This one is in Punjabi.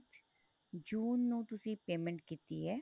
ਜੂਨ ਨੂੰ ਤੁਸੀਂ payment ਕੀਤੀ ਏ